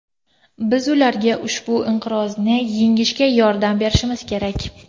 Biz ularga ushbu inqirozni yengishga yordam berishimiz kerak.